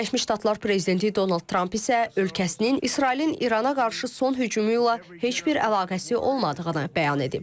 Birləşmiş Ştatlar prezidenti Donald Tramp isə ölkəsinin İsrailin İrana qarşı son hücumu ilə heç bir əlaqəsi olmadığını bəyan edib.